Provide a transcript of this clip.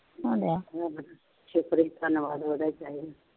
ਸ਼ੁਕਰ ਜੀ ਧੰਨਵਾਦ ਉਹਦਾ ਚਾਹੀਦਾ